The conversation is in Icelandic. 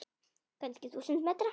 Kannski þúsund metra?